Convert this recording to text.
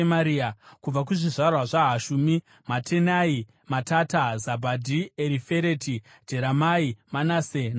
Kubva kuzvizvarwa zvaHashumi: Matenai, Matata, Zabhadhi, Erifereti, Jeremai, Manase naShimei.